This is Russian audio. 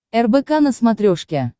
рбк на смотрешке